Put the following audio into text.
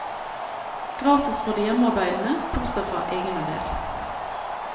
Gratis for de hjemmearbeidende, bortsett fra egenandel.